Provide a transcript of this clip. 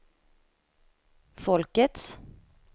folkets